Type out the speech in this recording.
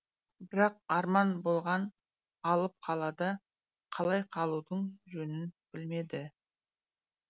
бірақ арман болған алып қалада қалай қалудың жөнін білмеді